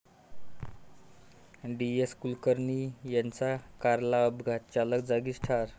डी.एस.कुलकर्णी यांच्या कारला अपघात, चालक जागीच ठार